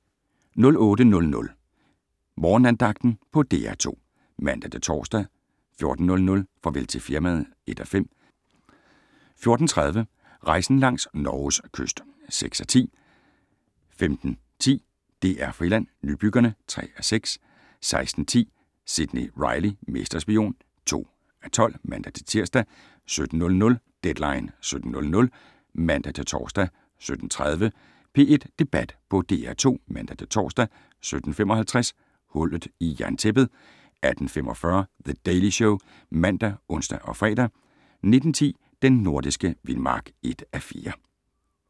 08:00: Morgenandagten på DR2 (man-tor) 14:00: Farvel til firmaet (1:5) 14:30: Rejsen langs Norges kyst (6:10) 15:10: DR Friland: Nybyggerne (3:6) 16:10: Sidney Reilly - mesterspion (2:12)(man-tir) 17:00: Deadline 17.00 (man-tor) 17:30: P1 Debat på DR2 (man-tor) 17:55: Hullet i jerntæppet 18:45: The Daily Show ( man, ons, fre) 19:10: Den nordiske vildmark (1:4)